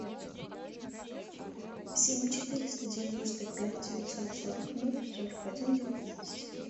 семь четыреста девяносто пять девятьсот сорок ноль сорок один девятнадцать